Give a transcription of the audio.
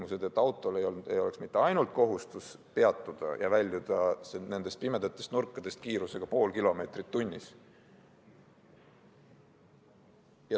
looma sellised tingimused, et autol oleks kohustus peatuda ja väljuda nendest pimedatest nurkadest kiirusega 0,5 km/h.